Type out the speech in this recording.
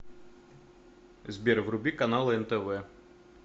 сбер вруби каналы нтв